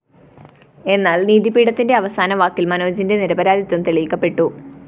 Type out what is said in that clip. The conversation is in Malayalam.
എന്നാല്‍ നീതി പീഠത്തിന്റെ അവസാന വാക്കില്‍ മനോജിന്റെ നിരപരാധിത്വം തെളിയിക്കപ്പെട്ടു